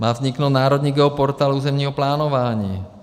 Má vzniknout Národní geoportál územního plánování.